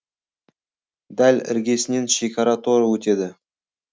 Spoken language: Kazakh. дәл іргесінен шекара торы өтеді